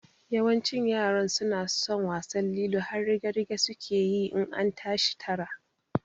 Yawancin yaran suna son wasan lilo har rige-rige suke yi in an tashi tara